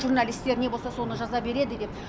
журналистер не болса соны жаза береді деп